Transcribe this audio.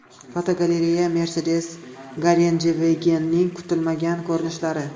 Fotogalereya: Mercedes Gelandewagen’ning kutilmagan ko‘rinishlari.